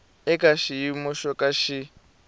eka xiyimo xo ka xi